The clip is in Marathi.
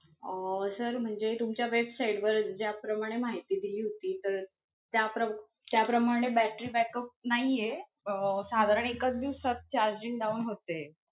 अं sir म्हणजे तुमच्या website वर ज्या प्रमाणे माहिती दिली होती तर त्या प्रम~ त्या प्रमाणे battery backup नाही आहे, अं साधारण एकचं दिवसात charging down होते.